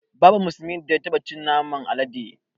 Babu musulmin da ya taɓa cin naman alade